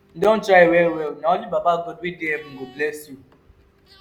you don try well-well na only baba god wey dey heaven go bless you.